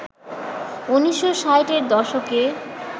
১৯৬০-এর দশকে